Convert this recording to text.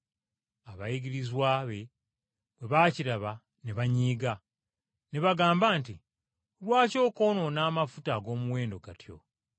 Abayigirizwa be bwe baakiraba ne banyiiga. Ne bagamba nti, “Lwaki okwonoona amafuta ag’omuwendo gatyo!